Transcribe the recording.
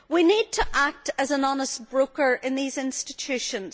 We need to act as an honest broker in these institutions